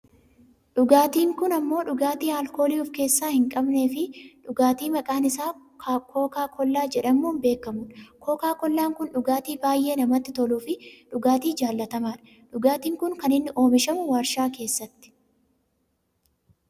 dhugaatiin kun ammoo dhugaatii aalkoolii of keessaa hin qabneefi dhugaatii maqaan isaa kookaakkoollaa jedhamuun beekkamudha. kookaakoollaan kun dhugaatii baayyee namatti toluufi dhugaatii jaallatamaadha. dhugaatiin kun kan inni oomishamu waarshaa keessatti.